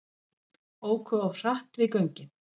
Óku of hratt við göngin